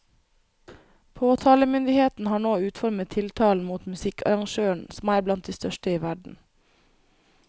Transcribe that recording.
Påtalemyndigheten har nå utformet tiltalen mot musikkarrangøren, som er blant de største i verden.